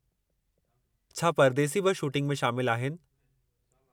छा परदेसी बि शूटिंग में शामिल आहिनि?